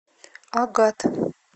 агат